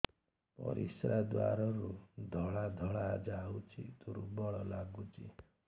ପରିଶ୍ରା ଦ୍ୱାର ରୁ ଧଳା ଧଳା ଯାଉଚି ଦୁର୍ବଳ ଲାଗୁଚି